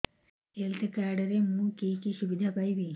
health card ରେ ମୁଁ କି କି ସୁବିଧା ପାଇବି